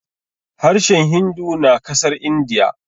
harshen hindu na kasar indiya